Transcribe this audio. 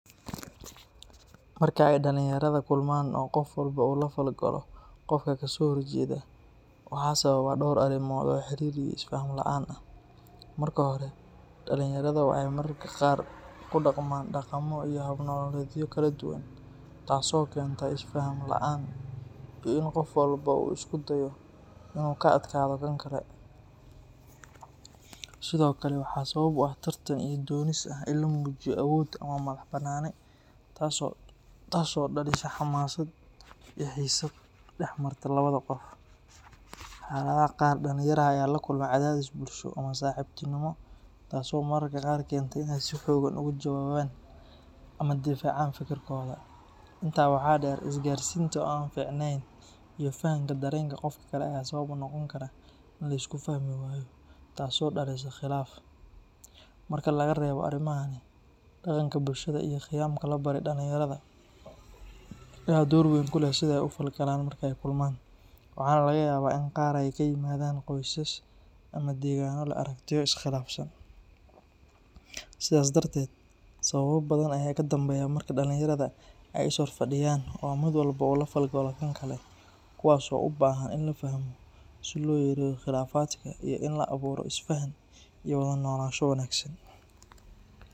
Marka ay dhalinyarada kulmaan oo qof walba uu la falgalo qofka ka soo horjeeda, waxaa sababa dhowr arrimood oo xiriir iyo isfaham la'aan ah. Marka hore, dhalinyarada waxay mararka qaar ku dhaqmaan dhaqamo iyo hab nololeedyo kala duwan, taas oo keenta isfaham la’aan iyo in qof walba uu isku dayo inuu ka adkaado kan kale. Sidoo kale, waxaa sabab u ah tartan iyo doonis ah in la muujiyo awood ama madax-bannaani, taas oo dhalisa xamaasad iyo xiisad dhex marta labada qof. Xaaladaha qaar, dhalinyarada ayaa la kulma cadaadis bulsho ama saaxiibtinimo, taasoo mararka qaar keenta inay si xooggan uga jawaabaan ama difaacaan fikirkooda. Intaa waxaa dheer, isgaarsiinta oo aan fiicnayn iyo fahamka dareenka qofka kale ayaa sabab u noqon kara in la isku fahmi waayo, taasoo dhalisa khilaaf. Marka laga reebo arrimahan, dhaqanka bulshada iyo qiyamka la baray dhalinyarada ayaa door weyn ku leh sida ay u falgalaan marka ay kulmaan, waxaana laga yaabaa in qaar ay ka yimaadaan qoysas ama deegaano leh aragtiyo is khilaafsan. Sidaas darteed, sababo badan ayaa ka dambeeya marka dhalinyarada ay is horfadhiyaan oo mid walba uu la falgalo kan kale, kuwaas oo u baahan in la fahmo si loo yareeyo khilaafaadka iyo in la abuuro isfaham iyo wada noolaansho wanaagsan.